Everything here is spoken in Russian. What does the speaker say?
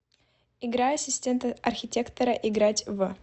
игра ассистент архитектора играть в